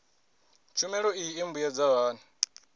tshumelo iyi i mbuyedza hani